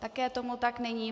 Také tomu tak není.